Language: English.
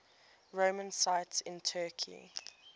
roman sites in turkey